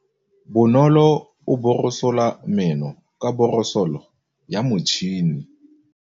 Bonolô o borosola meno ka borosolo ya motšhine.